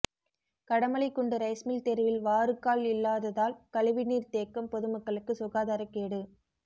Kadamalaikundu rice mill தெருவில் வாறுகால் இல்லாததால் கழிவுநீர் தேக்கம் பொதுமக்களுக்கு சுகாதாரக்கேடு